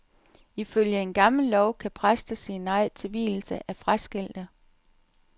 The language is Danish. Ifølge en gammel lov kan præster sige nej til vielse af fraskilte.